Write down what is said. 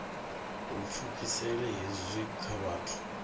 u pfukisela hezwi kha vhathu